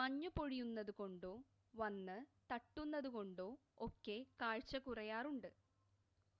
മഞ്ഞ് പൊഴിയുന്നതുകൊണ്ടോ വന്ന് തട്ടുന്നതുകൊണ്ടോ ഒക്കെ കാഴ്ച കുറയാറുണ്ട്